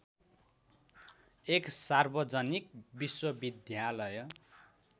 एक सार्वजनिक विश्वविद्यालय